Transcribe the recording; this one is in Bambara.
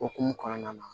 Okumu kɔnɔna na